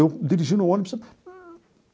Eu dirigindo o ônibus.